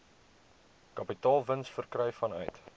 kapitaalwins verkry vanuit